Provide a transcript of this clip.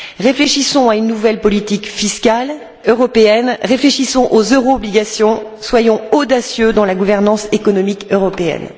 Réfléchissons à une nouvelle politique fiscale européenne, réfléchissons aux euro obligations, soyons audacieux dans la gouvernance économique européenne.